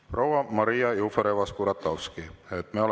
Proua Maria Jufereva-Skuratovski!